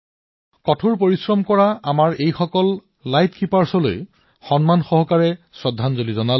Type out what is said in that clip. মই আমাৰ এই কঠোৰ পৰিশ্ৰমী এই পোহৰৰক্ষকসকলক সন্মানেৰে শ্ৰদ্ধাঞ্জলি জনাইছো আৰু ভূয়সী প্ৰশংসা কৰিছো